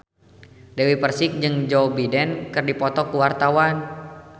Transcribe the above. Dewi Persik jeung Joe Biden keur dipoto ku wartawan